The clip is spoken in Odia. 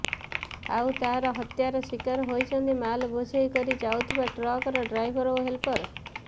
ଆଉ ତାର ହତ୍ୟାର ଶିକାର ହୋଇଛନ୍ତି ମାଲ ବୋଝେଇ କରି ଯାଉଥିବା ଟ୍ରକର ଡ୍ରାଇଭର ଓ ହେଲ୍ପର